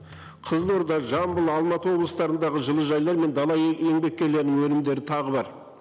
қызылорда жамбыл алматы облыстарындағы жылыжайлар мен дала еңбеккерлерінің өнімдері тағы бар